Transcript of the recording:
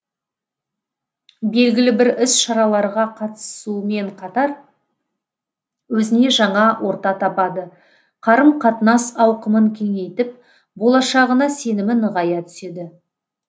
белгілі бір іс шараларға қатысумен қатар өзіне жаңа орта табады қарым қатынас ауқымын кеңейтіп болашағына сенімі нығая түседі